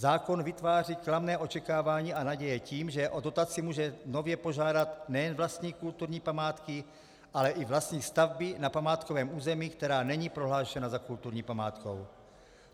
Zákon vytváří klamné očekávání a naděje tím, že o dotaci může nově požádat nejen vlastník kulturní památky, ale i vlastník stavby na památkovém území, která není prohlášena za kulturní památku.